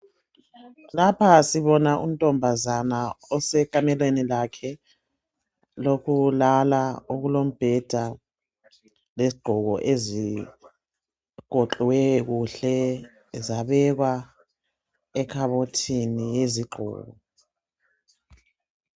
Lapha sibona untombazana osekamelweni lakhe lokulala okulombheda lezigqoko ezigoqwe kuhle zabekwa ekhabothini yezigqoko.